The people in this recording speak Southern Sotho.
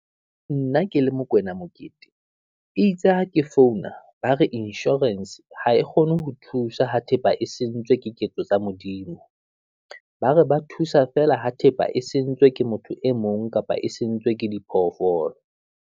Nna ke le Mokoena Mokete itse ha ke founa ba re insurance ha e kgone ho thusa ho thepa e sentsweng ke ketso tsa Modimo. Ba re ba thusa feela ho thepa e sentswe ke motho e mong, kapa e sentswe ke diphoofolo.